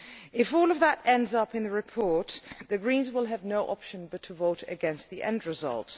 If all of that ends up in the report, the Greens will have no option but to vote against the end result.